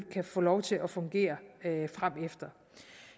kan få lov til at fungere fremefter